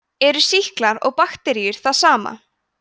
eru sýklar og bakteríur það sama